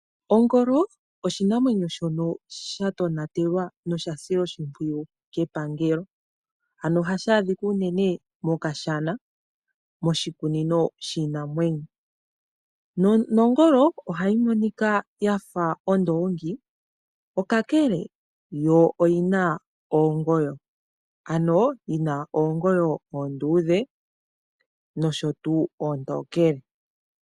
Ongolo oshinamwemyo shono shatonatelwa noshasilwa oshimpwiyu kepangelo, ano ohashi adhika unene mokashana moshikunino shiinamwenyo. Nongolo ohayi monika yafa ondoongi okakele yo oyina oongoyo oonduudhe nosho tuu oontokele.